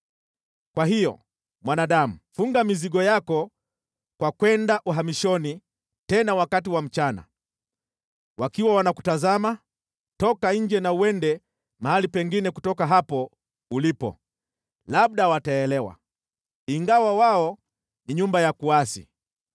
“Kwa hiyo, mwanadamu, funga mizigo yako kwa kwenda uhamishoni tena wakati wa mchana, wakiwa wanakutazama, toka nje na uende mahali pengine kutoka hapo ulipo. Labda wataelewa, ingawa wao ni nyumba ya kuasi.